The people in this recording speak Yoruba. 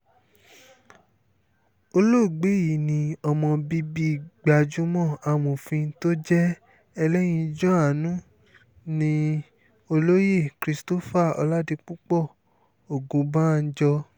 olóògbé yìí ni ọmọ bíbí gbajúmọ̀ amòfin tó jẹ́ ẹlẹ́yinjú-àánú nni olóyè christopher ọládípò ògúnbànjọ́